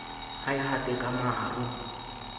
ha e hate ka maro